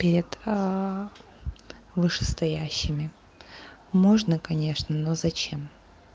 перед вышестоящими можно конечно но зачем